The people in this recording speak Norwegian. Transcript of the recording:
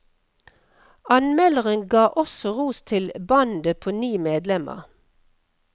Anmelderen ga også ros til bandet på ni medlemmer.